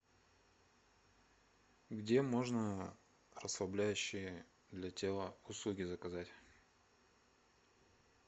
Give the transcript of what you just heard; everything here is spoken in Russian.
где можно расслабляющие для тела услуги заказать